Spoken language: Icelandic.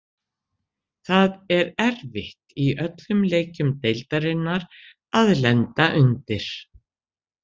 Það er erfitt í öllum leikjum deildarinnar að lenda undir.